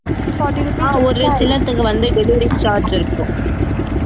ஒரு சிலதுக்கு வந்து delivery charge இருக்கும்